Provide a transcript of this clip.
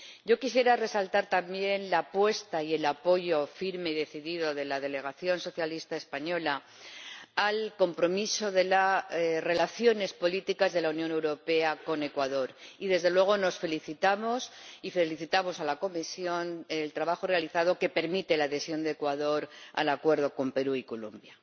Yo quisiera resaltar también la apuesta y el apoyo firme y decidido de la delegación socialista española al compromiso de las relaciones políticas de la Unión Europea con Ecuador, y desde luego nos felicitamos y felicitamos a la Comisión por el trabajo realizado, que permite la adhesión de Ecuador al Acuerdo con Perú y Colombia.